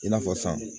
I n'a fɔ san